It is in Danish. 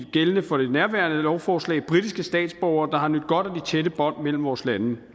gældende for det nærværende lovforslag britiske statsborgere der har nydt godt af tætte bånd mellem vores lande